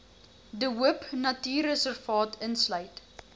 de hoopnatuurreservaat insluit